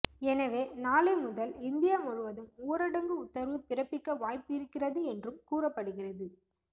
எனவே நாளை முதல் இந்தியா முழுவதும் ஊரடங்கு உத்தரவு பிறப்பிக்க வாய்ப்பிருக்கிறது என்றும் கூறப்படுகிறது